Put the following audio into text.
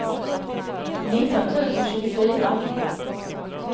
nitton tusen tjugofyra